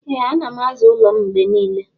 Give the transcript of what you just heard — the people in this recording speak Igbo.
Ee anam aza ụlọ m mgbenile.